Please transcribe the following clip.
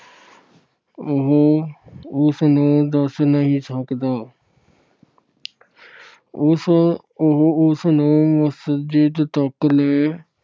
ਉਹ ਉਸ ਨੂੰ ਦੱਸ ਨਹੀਂ ਸਕਦਾ। ਉਸ ਅਹ ਉਹ ਉਸ ਨੂੰ ਮਸਜਿਦ ਤੱਕ ਲੈ